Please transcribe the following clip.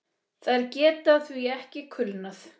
Þær geta því ekki kulnað.